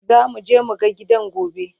zamu je mu ga gidan gobe